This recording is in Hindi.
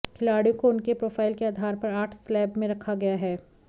खिलाड़ियों को उनके प्रोफाइल के आधार पर आठ स्लैब में रखा गया है